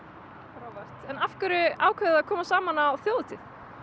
frábært en af hverju ákváðuð þið að koma saman á þjóðhátíð